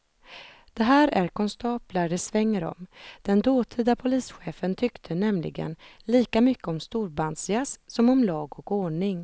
Det här är konstaplar det svänger om, den dåtida polischefen tyckte nämligen lika mycket om storbandsjazz som om lag och ordning.